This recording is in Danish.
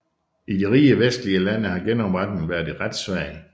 I de rige vestlige lande har genopretningen været ret svag